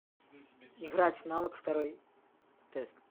играть в навык второй тест